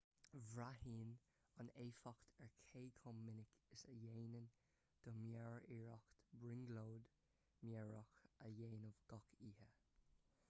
braitheann an éifeacht ar cé chomh minic is a dhéanann do mheabhair iarracht brionglóid mheabhrach a dhéanamh gach oíche